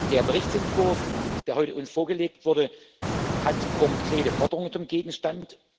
Der Berichtsentwurf, der uns heute vorgelegt wurde, hat konkrete Forderungen zum Gegenstand.